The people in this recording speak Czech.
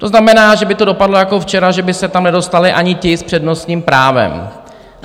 To znamená, že by to dopadlo jako včera, že by se tam nedostali ani ti s přednostním právem.